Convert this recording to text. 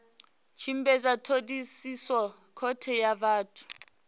tshimbidza thodisiso khothe ya vhathu